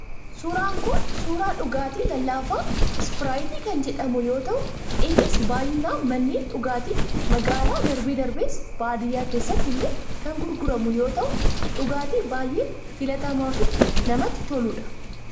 Suuraan Kun, suuraa dhugaatii lallaafaa, ispiraayitii kan jedhamu yoo ta'u, innis baayyinaan manneen dhugaatii magaalaa darbe darbees baadiyyaa keessatti illee kan gurguramu yoo ta'u, dhugaatii baayyee filatamaa fi namatti toludha.